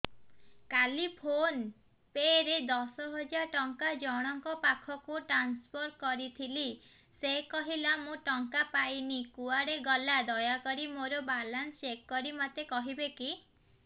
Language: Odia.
କାଲି ଫୋନ୍ ପେ ରେ ଦଶ ହଜାର ଟଙ୍କା ଜଣକ ପାଖକୁ ଟ୍ରାନ୍ସଫର୍ କରିଥିଲି ସେ କହିଲା ମୁଁ ଟଙ୍କା ପାଇନି କୁଆଡେ ଗଲା ଦୟାକରି ମୋର ବାଲାନ୍ସ ଚେକ୍ କରି ମୋତେ କହିବେ କି